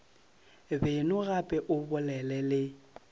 beno gape o bolele le